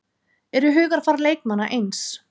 Eru hugarfar leikmanna eins?